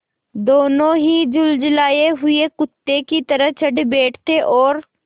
दोनों ही झल्लाये हुए कुत्ते की तरह चढ़ बैठते और